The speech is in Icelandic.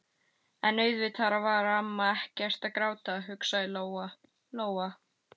En auðvitað var amma ekkert að gráta, hugsaði Lóa-Lóa.